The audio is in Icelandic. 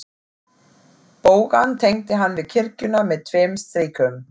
Bogann tengdi hann við kirkjuna með tveim strikum.